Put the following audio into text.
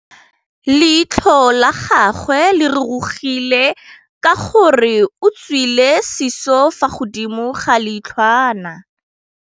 Leitlhô la gagwe le rurugile ka gore o tswile sisô fa godimo ga leitlhwana.